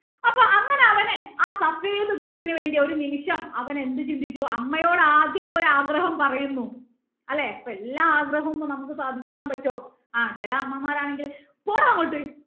അപ്പൊ അങ്ങനെ അവന് ആ ന് വേണ്ടി ഒരു നിമിഷം എന്ത് ചിന്തിച്ചു അമ്മയോട് ആദ്യം പോയി ആഗ്രഹം പറയുന്നു അല്ലേ അപ്പൊ എല്ലാ ആഗ്രഹങ്ങളും നമുക്ക് ഇപ്പൊ സാധിച്ച് തരാൻ പറ്റോ ആ ചില അമ്മമാർ ആണെങ്കിൽ പോടാ അങ്ങോട്ട്